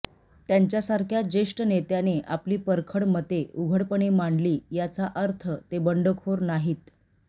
त्यांच्यासारख्या ज्येष्ठ नेत्याने आपली परखड मते उघडपणे मांडली याचा अर्थ ते बंडखोर ठरत नाहीत